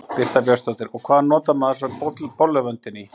Birta Björnsdóttir: Og hvað notar maður svo bolluvöndinn í?